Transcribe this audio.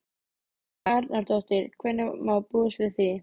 Helga Arnardóttir: Hvenær má búast við því?